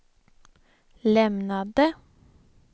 lämnade